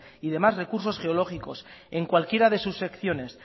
y demás recursos geológicos en cualquiera de sus secciones